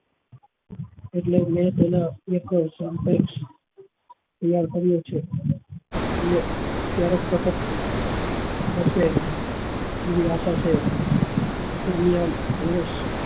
એટલે મેં તેના એક સદેશ તૈયાર કર્યો છે એ ક્યારેક થશે એવી આશા છે